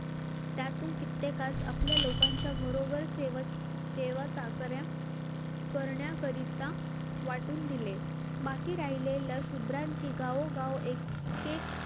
त्यातून कित्येकास आपल्या लोकांच्या घरोघर सेवा, सेवा चाकऱ्या करण्याकरिता वाटून दिले बाकी राहिलेल शूद्रांची गाव गाव एक एक